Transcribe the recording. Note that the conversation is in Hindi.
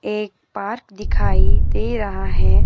एक पार्क दिखाई दे रहा है।